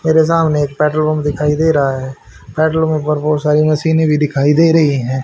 मेरे सामने एक बेडरूम दिखाई दे रहा है बेडरूम पर बहुत सारी मशीने भी दिखाई दे रही है।